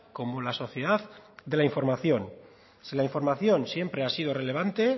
como la sociedad de la información si la información siempre ha sido relevante